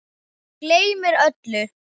Gleymir öllu.